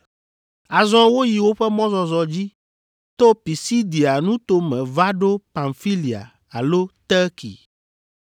Azɔ woyi woƒe mɔzɔzɔ dzi to Pisidia nuto me va ɖo Pamfilia alo Terki.